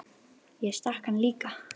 Ég stakk hann líka.